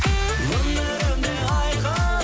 өмірім де айқын